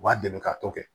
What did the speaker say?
U b'a dɛmɛ ka tɔ kɛ